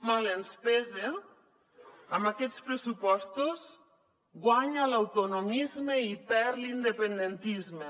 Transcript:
mal ens pese amb aquests pressupostos guanya l’autonomisme i perd l’independentisme